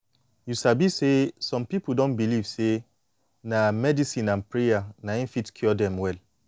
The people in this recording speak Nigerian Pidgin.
you sabi say some pipu don believe say na medicine and prayer na em fit cure dem well